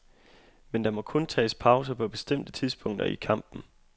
Men der må kun tages pauser på bestemte tidspunkter i kampen.